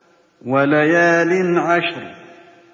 وَلَيَالٍ عَشْرٍ